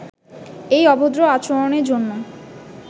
এই অভদ্র আচরণের জন্য